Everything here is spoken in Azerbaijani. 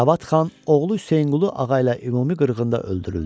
Cavad xan oğlu Hüseyinqulu ağa ilə ümumi qırğında öldürüldü.